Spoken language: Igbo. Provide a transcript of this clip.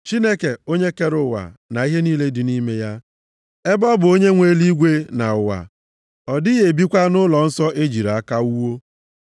“Chineke onye kere ụwa na ihe niile dị nʼime ya. Ebe ọ bụ onye nwe eluigwe na ụwa, ọ dịghị ebikwa nʼụlọnsọ e jiri aka wuo.